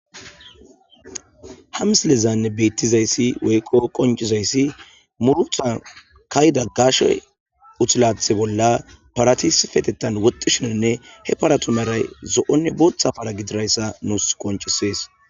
Ha misilezan bettizayssi woykko qoncizayssi murutan ka'ida gaashshey uthilathe bolla parati issippetettan woxxishinenne he paratu meray zo'onne booththa para gidirayssa nuus qoncisees